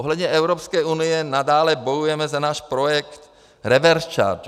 Ohledně Evropské unie nadále bojujeme za náš projekt reverse charge.